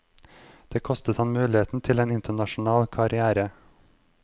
Det kostet ham muligheten til en internasjonal karrière.